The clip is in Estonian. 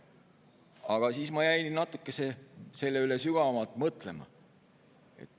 Aga siis ma jäin selle üle natuke sügavamalt mõtlema.